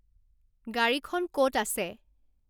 গাড়ীখন ক'ত আছে